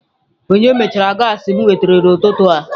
Onye mechara gaasị m nwetara n'ututu a?